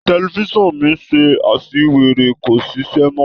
Tẹlifisiọnu mi se àṣìwèrè kò sì ṣíṣe mọ